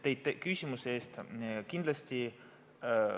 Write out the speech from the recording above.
Tänan teid küsimuse eest!